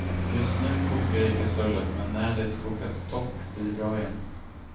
Just nu kokar det i kastrullen, men när det kokat torrt blir det bra igen.